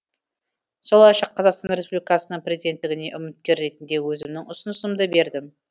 солайша қазақстан республикасының президенттігіне үміткер ретінде өзімнің ұсынысымды бердім